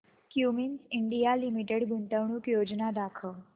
Cummins India limited गुंतवणूक योजना दाखव